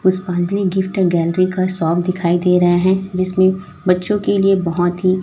पुष्पांजलि gift gallery का shop दिखाई दे रहे हैं जिसमें बच्चों के लिए बहोत ही--